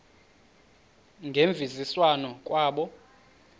ngemvisiswano r kwabo